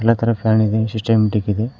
ಅತರ fan ಇದೆ systematic ಇದೆ.